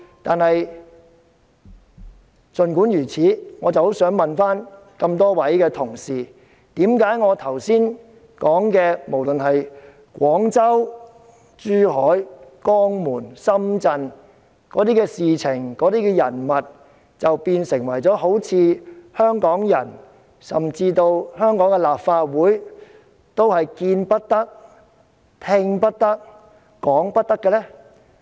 但是，我也很想請問各位同事，為何我剛才提及的，不論是在廣州、珠海、江門或深圳的那些事件、人物，都好像變成了香港人甚或香港立法會見不得、聽不得、講不得的呢？